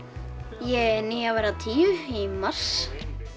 ég er níu að verða tíu í mars